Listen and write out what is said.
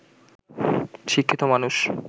শিক্ষিত মানুষ